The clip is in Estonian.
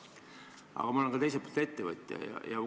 Aga teiselt poolt olen ma ettevõtja.